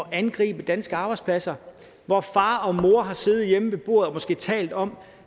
at angribe danske arbejdspladser hvor far og mor har siddet hjemme ved bordet og måske talt om